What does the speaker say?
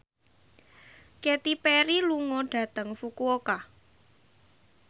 Katy Perry lunga dhateng Fukuoka